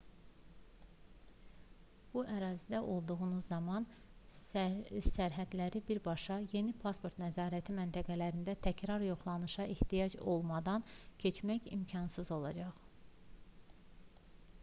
bu ərazidə olduğunuz zaman sərhədləri birbaşa yəni pasport nəzarəti məntəqələrində təkrar yoxlanışa ehtiyac olmadan keçmək imkanınız olacaq